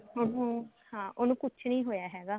ਹਾਂ ਉਸ ਨੂੰ ਹਾਂ ਉਹਨੂੰ ਕੁੱਝ ਨੀ ਹੋਇਆ ਹੈਗਾ